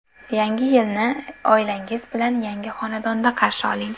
Yangi yilni oilangiz bilan yangi xonadonda qarshi oling!